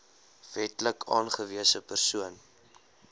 wetlik aangewese persoon